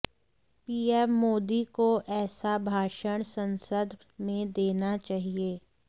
PM Modi को ऐसा भाषण ससंद में देना चाहिए